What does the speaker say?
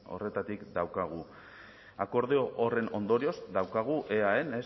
horretatik daukagu akordio horren ondorioz daukagu eaen